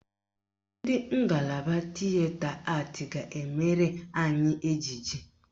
Ndị ngalaba Tịeta Atị ga-emere anyị ejije